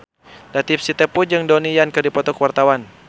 Latief Sitepu jeung Donnie Yan keur dipoto ku wartawan